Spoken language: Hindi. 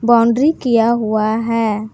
बाउंड्री किया हुआ है।